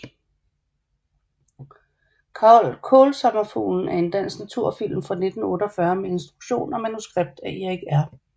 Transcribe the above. Kaalsommerfuglen er en dansk naturfilm fra 1948 med instruktion og manuskript af Erik R